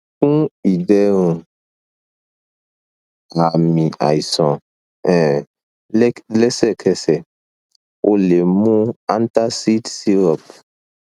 fun iderun aami aisan um lẹk lẹsẹkẹsẹ o le mu antacid syrup